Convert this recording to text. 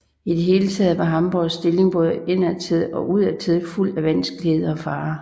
I det hele taget var Hamborgs stilling både indadtil og udadtil fuld af vanskeligheder og farer